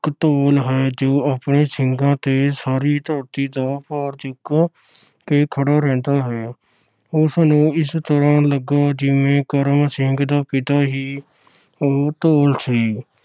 ਇਕ ਧੌਲ ਹੈ ਜੋ ਆਪਣੇ ਸਿੰਘਾਂ ਤੇ ਸਾਰੀ ਧਰਤੀ ਦਾ ਭਾਰ ਚੁੱਕ ਖੜਾ ਰਹਿੰਦਾ ਹੈ ਉਸਨੂੰ ਇਸ ਤਰ੍ਹਾਂ ਲੱਗਾ ਕਿ ਕਰਮ ਸਿੰਘ ਦਾ ਪਿਤਾ ਹੀ ਉਹ ਧੌਲ ਸੀ।